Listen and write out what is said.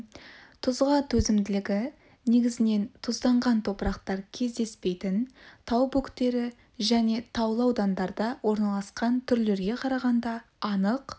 тұзға төзімділігі негізінен тұзданған топырақтар кездеспейтін тау бөктері және таулы аудандарда орналасқан түрлерге қарағанда анық